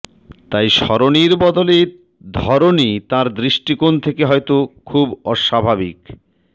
তাই সরণির বদলে ধরণী তাঁর দৃষ্টিকোণ থেকে হয়তো খুব অস্বাভাবিক